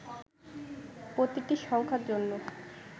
প্রতিটি সংখার জন্য